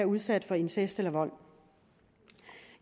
udsat for incest eller vold